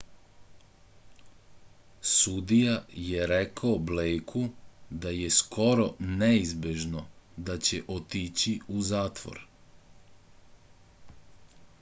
sudija je rekao blejku da je skoro neizbežno da će otići u zatvor